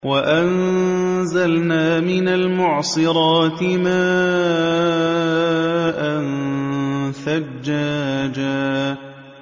وَأَنزَلْنَا مِنَ الْمُعْصِرَاتِ مَاءً ثَجَّاجًا